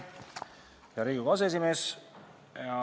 Hea Riigikogu aseesimees!